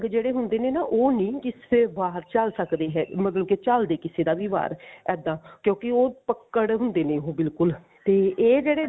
ਜਿਹੜੇ ਹੁੰਦੇ ਨੇ ਨਾ ਉਹ ਨੀ ਕਿਸੇ ਬਾਹਰ ਝੱਲ ਸਕਦੇ ਹੈ ਮਤਲਬ ਝੱਲਦੇ ਕਿਸੇ ਦਾ ਵੀ ਵਾਰ ਇੱਦਾਂ ਕਿਉਂਕਿ ਉਹ ਪੱਕੜ ਹੁੰਦੇ ਨੇ ਉਹ ਬਿਲਕੁਲ ਤੇ ਇਹ ਜਿਹੜੇ